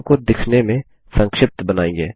form को दिखने में संक्षिप्त बनाइए